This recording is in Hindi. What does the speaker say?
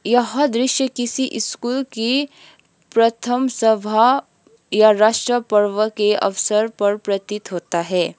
यह दृश्य किसी स्कूल की प्रथम सभा या राष्ट्र पर्व के अवसर पर प्रतीत होता है।